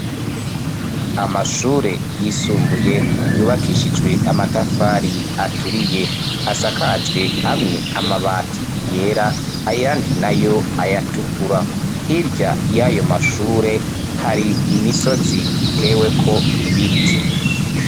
Amashure yisumbuye yubakishijwe amatafari aturiye. Asakajwe amwe amabati yera, ayandi nayo ayatukur. Hirya y'ayo mashure, hari imisozi itewe ko ibiti.